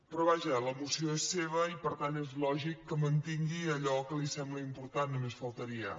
però vaja la moció és seva i per tant és lògic que mantingui allò que li sembla important només faltaria